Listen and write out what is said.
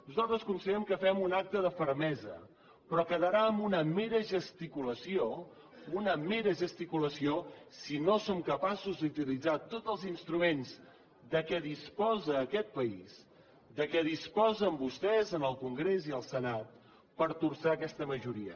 nosaltres considerem que fem un acte de fermesa però quedarà en una mera gesticulació una mera gesticulació si no som capaços d’utilitzar tots els instruments de què disposa aquest país de què disposen vostès en el congrés i el senat per torçar aquesta majoria